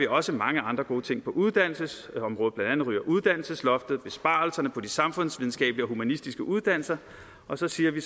også mange andre gode ting på uddannelsesområdet blandt andet ryger uddannelsesloftet og besparelserne på de samfundsvidenskabelige og humanistiske uddannelser og så siger vi